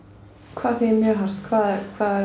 hvað þýðir mjög hart hvaða